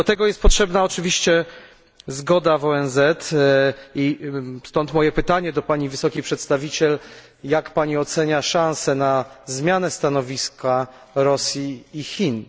Do tego jest potrzebna oczywiście zgoda w ONZ i stąd moje pytanie do pani wysokiej przedstawiciel jak Pani ocenia szansę na zmianę stanowiska Rosji i Chin?